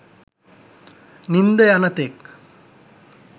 නින්ද යනතෙක්